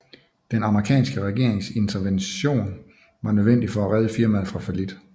Den amerikanske regerings intervention var nødvendig for at redde firmaet fra fallit